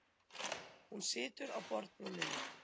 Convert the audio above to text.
Hún situr á borðbrúninni.